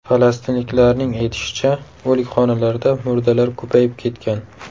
Falastinliklarning aytishicha, o‘likxonalarda murdalar ko‘payib ketgan.